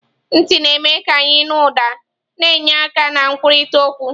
Ntị na-eme ka anyị nụ ụda, na-enye aka na nkwurịta okwu.